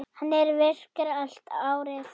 Hann er virkur allt árið.